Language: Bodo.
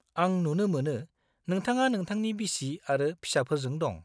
आं नुनो मोनो नोथाङा नोंथांनि बिसि आरो फिसाफोरजों दं।